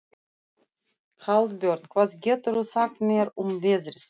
Hallbjörn, hvað geturðu sagt mér um veðrið?